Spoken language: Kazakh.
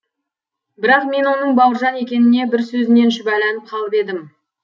бірақ мен оның бауыржан екеніне бір сөзінен шүбәланып қалып едім